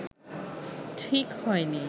ঠিক হয়নি